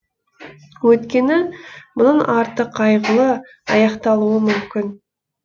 өйткені мұның арты қайғылы аяқталуы мүмкін